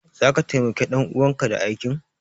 Zaka taimaki ɗan uwanka da aikin?